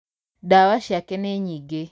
Ndawa ciake nĩ nyingĩ